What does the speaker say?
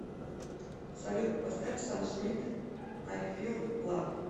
салют поставь сам смит ай фил лав